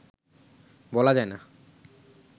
বলা যায় না